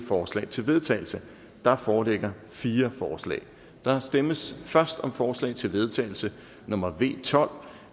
forslag til vedtagelse der foreligger fire forslag der stemmes først om forslag til vedtagelse nummer v tolv